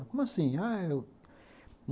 Como assim? ah, eu